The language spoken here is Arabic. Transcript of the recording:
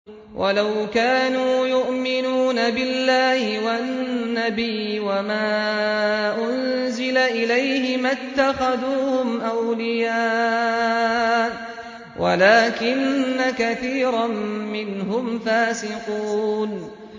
وَلَوْ كَانُوا يُؤْمِنُونَ بِاللَّهِ وَالنَّبِيِّ وَمَا أُنزِلَ إِلَيْهِ مَا اتَّخَذُوهُمْ أَوْلِيَاءَ وَلَٰكِنَّ كَثِيرًا مِّنْهُمْ فَاسِقُونَ